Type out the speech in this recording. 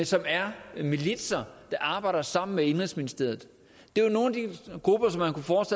som er militser der arbejder sammen med indenrigsministeriet det er nogle